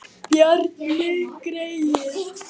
Bjarni greyið!